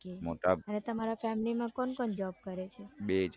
અને તમારા family માં કોણ કોણ job કરે છે બે જાણ મોટા